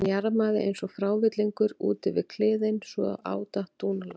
Hann jarmaði eins og frávillingur út yfir kliðinn svo á datt dúnalogn.